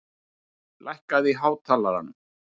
Aldar, lækkaðu í hátalaranum.